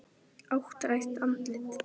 Áttrætt andlit.